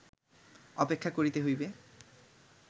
অপেক্ষা করিতে হইবে